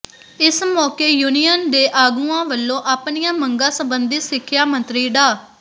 ਇਸ ਮੌਕੇ ਯੂਨੀਅਨ ਦੇ ਆਗੂਆਂ ਵੱਲੋਂ ਆਪਣੀਆਂ ਮੰਗਾਂ ਸੰਬੰਧੀ ਸਿੱਖਿਆ ਮੰਤਰੀ ਡਾ